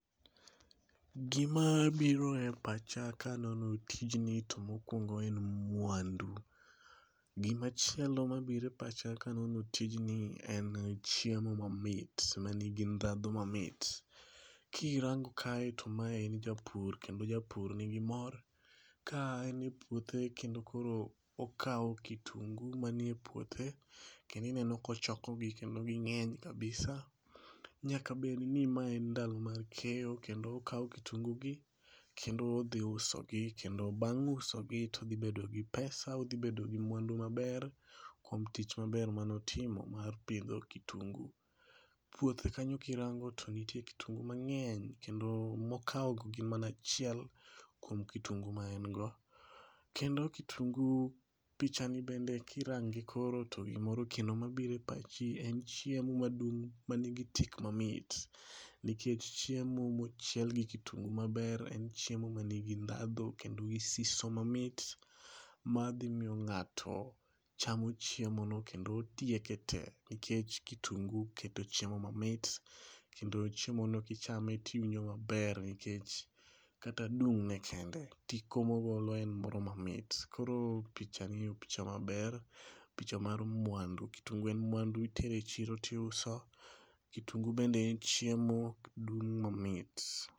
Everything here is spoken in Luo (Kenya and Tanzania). Gima biro e pacha kanono tijni to mokuongo en mwandu. Gimachielo mabiro e pacha kanono tijni en chiemo mamit manigi ndhandhiu mamit. Kirango kae to mae en japur kendo japur nigi moro ka en e puothe kendo koro okaw kitungu manie puothe kendo ineno kochoko gi kendo gingeny kabisa nyaka bedni mae en ndalo mag keyo kendo okao kitungu gi kendo odhi usogi kendo bang' usogi odhi bedo gi pesa, odhi bedo gi mwandu maber kuom tich maber mane otimo mar pidho kitungu .Puothe kanyo kirango to nitie kitungu mangeny kendo mokao goo gin mana achiel kuom kitungu ma en go kendo kitungu . pichani bende kirange koro be gimoro kendo mabiro e pachi en chiemo madung' manigi tik mamit nikech chiemo mochiel gi kitungu maber en chiemo manigi ndhandhu kendo gi siso mamit madhi miyo ng'ato chamo chiemo no kendo tieke tee nikech kitungu keto chiemo mamit kendo chiemo no kichame tiwino maber nikech kata dung' ne kende, tik mogolo en moro mamit. Koro pichani en picha maber, picha mar mwandu. Kitungu en mwandu, kitero e chiro tiuso, kitungu bende en chiemo, odung' mamit.